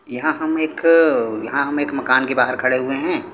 यहां हम एक यहां हम एक मकान के बाहर खड़े हुए हैं।